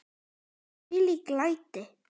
Þvílík læti!